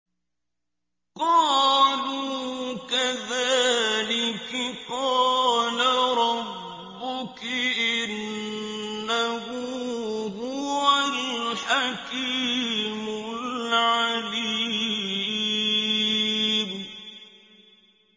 قَالُوا كَذَٰلِكِ قَالَ رَبُّكِ ۖ إِنَّهُ هُوَ الْحَكِيمُ الْعَلِيمُ